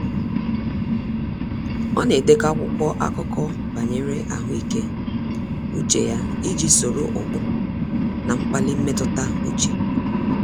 Ọ na-edekọ akwụkwọ akụkọ banyere ahụike uche ya iji soro ụkpụrụ na mkpali mmetụta uche